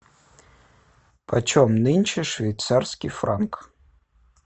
почем нынче швейцарский франк